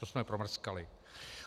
To jsme promrskali.